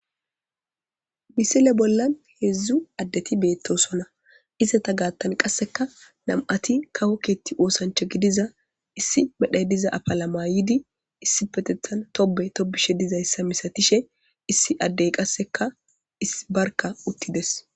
misile bollan heedzdzu addeti beettosona iseta gaattan qasseka nam'ati kawo keetti woosancha gidiza issi medhay diza afala mayidi issi petethan tobe tobishe dizayssa misatishe issi addey qasseka issi barka uttides